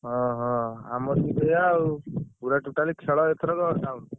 ଓହୋ! ଆମର ବି ସେୟା ଆଉ ପୁରା totally ଖେଳ ଏଥରକ all out ।